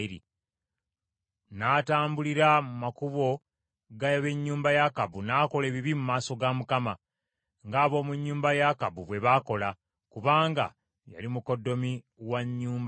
N’atambulira mu makubo ga b’ennyumba ya Akabu n’akola ebibi mu maaso ga Mukama , ng’ab’omu nnyumba ya Akabu bwe baakola, kubanga yali mukoddomi wa nnyumba ya Akabu.